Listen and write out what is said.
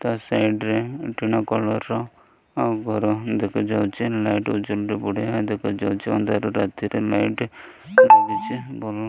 ତା ସାଇଡ଼ରେ କଲର୍ ର ଆଉ ଗରମ୍ ଦେଖାଯାଉଚି ବି ବଢିଆ ଦେଖାଯାଉଚି ଅନ୍ଧାର ରାତିରେ ଲାଇଟ୍ ଲାଗିଚି ଭଲ --